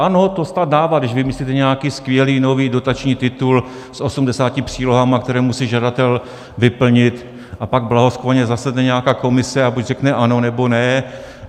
Ano, to stát dává, když vymyslíte nějaký skvělý nový dotační titul s 80 přílohami, které musí žadatel vyplnit, a pak blahosklonně zasedne nějaká komise a buď řekne ano, nebo ne.